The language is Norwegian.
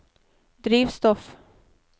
drivstoff